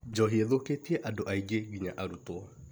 Njohi thũkĩtie andũ aingĩ nginya arutwo